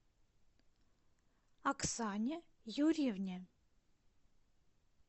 оксане юрьевне